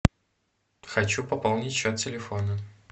хочу пополнить счет телефона